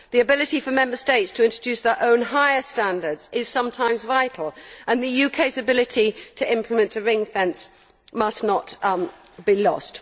The ability for Member States to introduce their own higher standards is sometimes vital, and the UK's ability to implement a ring fence must not be lost.